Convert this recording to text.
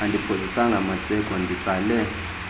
andiphozisanga maseko nditsale